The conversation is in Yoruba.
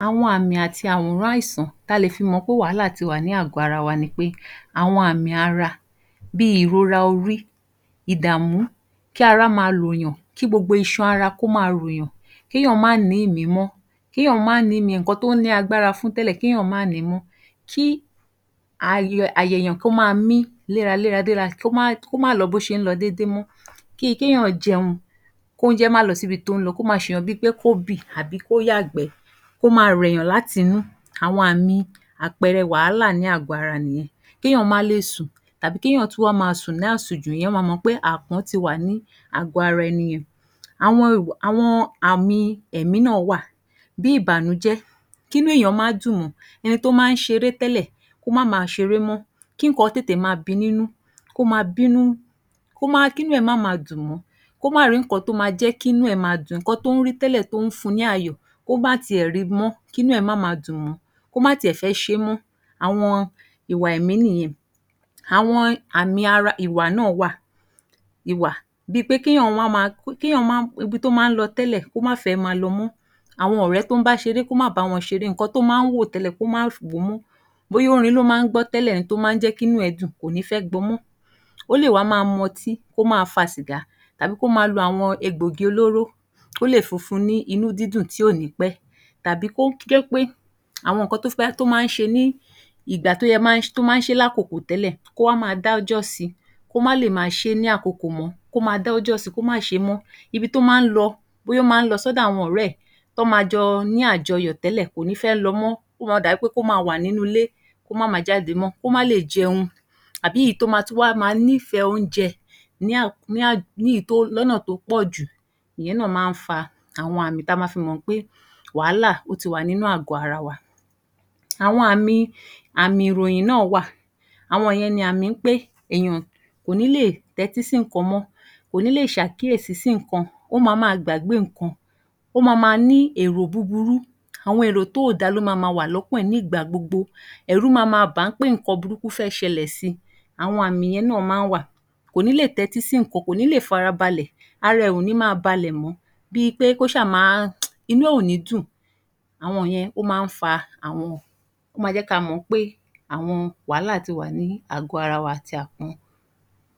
Àwọn àmì àti àwòrán àìsàn ta lè fi mọ̀ pé wàhálà ti wà ní àgọ́-ara wa ni pé àwọn àmì ara bí ìrora orí, ìdààmú, kí ará máa ròyàn, kí gbogbo ìṣàn ara kó ma ròyàn, kí èèyàn má nì í ìmí mọ́, kí èèyàn má nì í ìmí nǹkan tó ní agbára fún tẹ́lẹ̀ kí èèyàn má ni mọ́, kí àyà èèyàn kó ma mí léraléra léra, kó má lọ bó ṣe ń lọ dédé mọ́. Bí i kí èèyàn jẹun, kí oúnjẹ má lọ síbi tó ń lọ, kó ma ṣèèyàn bí i pé kó bì tàbí kó yàgbẹ́, kó ma rẹ èèyàn láti inú, àwọn àmì àpẹẹrẹ wàhálà ní àgọ́-ara nìyẹn. Kí èèyàn má lè sùn, tàbí kí èèyàn tún wá ma sùn ní àsùnjù, èèyàn ma mọ̀ pé ti wà ní àgọ́-ara ẹni yẹn. Àwọn àmì ẹ̀mí náà wá à bí ìbànújẹ́. Kí inú èèyàn má dùn mọ, ẹni tó má ń ṣeré tẹ́lẹ̀ kó má ma ṣeré mó. Kí nǹkan tètè ma bi nínú, kí inú ẹ̀ má ma dùn mọ́, kó má rì í nǹkan tó ma jẹ́ kí inú ẹ̀ ma dùn, nǹkan tó ń rí tẹ́lẹ̀ tó ń fun ní ayọ̀ kó má tiẹ̀ ri mọ́, kí nú ẹ̀ má ma dùn mọ́ ọ́n, kó má tiẹ̀ fẹ́ ṣe é mọ́, àwọn ìwà ẹ̀mí nìyẹn. Àwọn àmì ara ìwà náà wà, ìwà ibi tó máa ń lọ tẹ́lẹ̀ kò má fẹ̀ ẹ́ ma lọ mọ́, àwọn ọ̀rẹ́ tó ń bá ṣeré kó má bá wọn ṣeré, nǹkan tó ma ń wò tẹ́lẹ̀ kó má wò ó mọ́. Bóyá orin ló máa ń gbọ́ tẹ́lẹ̀ tó máa ń jẹ́ kí inú ẹ̀ dùn-ún kò ní fẹ́ gbọ mọ́, ó lè wá ma mọtí, kó ma fa sìgá, tàbí kó ma lo àwọn egbògi olóró. Ó lè fi fun ni inú dídùn tí ò ní pẹ́ tàbí kó jẹ́ pé àwọn nǹkan tó máa ń ṣe lákokò tẹ́lẹ̀ kó wá ma dá ọjọ́ sì, kó má lè ma ṣẹ́ ní ákokò mọ́, kó ma dá ọjọ́ sì, kó má ṣe é mọ́. Ibi tó máa ń lọ bóyá ó máa ń lọ sọ́dọ̀ àwọn ọ̀rẹ́ ẹ̀, tọ́ ma jọ ní àjọyọ̀ tẹ́lẹ̀ kò ní fẹ́ lọ mọ́. Ó ma dàbí kó ma wà nínú ilé, kó má ma jáde mọ́. Kó má lè jẹun tàbí èyí tó wá tún wá ma nífẹ̀ẹ́ oúnjẹ lọ́nà tó pọ̀ jù, ìyẹn náà má ń fa àwọn àmì ta ma fi mọ̀ pé wàhálà ó ti wà nínú àgọ́-ara wa. Àwọn àmì ìròyìn náà wà. Àwọn ìyẹn ni àmì pé èèyàn kò ní lè tẹ́tí sí nǹkan mọ́. Kò ní lè ṣàkíyèsí sí nǹkan, ó ma máa gbàgbé nǹkan, ó ma ma ní èrò búburú, àwọn èrò tí ò da ló ma ma wà lọ́kàn ẹ̀ nígbà gbogbo, ẹ̀rù ma ma bà á pé nǹkan burúkú fẹ́ ṣẹlẹ̀ si. Àwọn àmì yẹn náà máa ń wà. Kò ní lè tẹ́tí sí nǹkan, kò ní lè farabalẹ̀, ara ẹ̀ ò ní ma balẹ̀ mọ́ ọn, inú ẹ̀ ò ní dùn. Ó ma jẹ́ ká mọ̀ pé àwọn wàhálà ti wà ní àgọ́-ara wa.